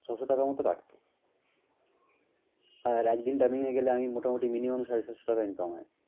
ছয়শ টাকার মত কাটবে। আর একদিন dubbing এ গেলে আমি মোটামুটি minimum সাড়ে সাতশ টাকা income হয়।